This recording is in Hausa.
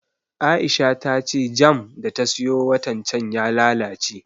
Aisha ta ce jam da ta siyo watan can ya lalace